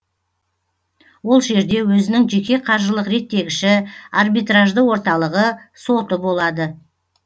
ол жерде өзінің жеке қаржылық реттегіші арбитражды орталығы соты болады